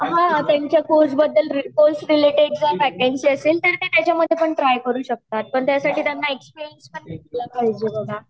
हा त्यांच्या course related जर वेकेंसी असेल तर त्या त्याच्या मधे पण ट्राय करू शकतात पण त्यासाठी त्यांना एक्सपिरियन्स पण घेतला पाहिजे बघा